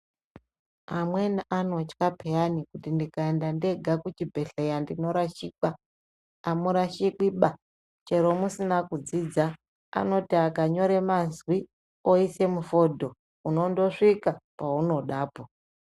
Amweni anotya piyani kuti ndikaenda ndega kuchibhhleya ndinorashikwa. Amurashikwi ba! Chero musina kudzidza ,anoti akanyora mazwi oise mufodho, unondosvika paunodapo.